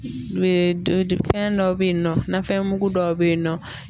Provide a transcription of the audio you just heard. Fɛn dɔw bɛ yen nɔfɛn mugu dɔw bɛ yen nɔ